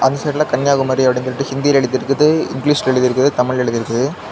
இந்த சைடுல கன்னியாகுமரி போர்டு ஹிந்தில எழுதி இருக்கு இங்கிலீஷ்ல எழுதி இருக்கு தமிழ்ல எழுதி இருக்கு.